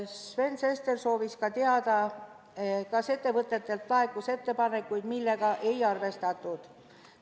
Sven Sester soovis teada, kas ettevõtetelt laekus ettepanekuid, mida ei arvestatud.